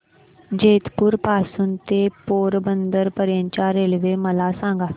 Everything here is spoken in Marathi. जेतपुर पासून ते पोरबंदर पर्यंत च्या रेल्वे मला सांगा